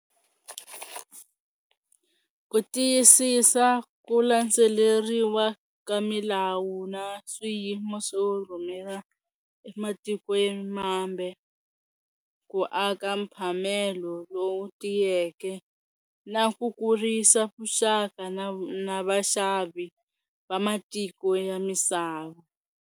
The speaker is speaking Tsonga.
Ku tiyisisa ku landzeleriwa ka milawu na swiyimo swo rhumela ematikweni mambe ku aka mphamelo lowu tiyeke na ku kurisa vuxaka na na vaxavi va matiko ya misava.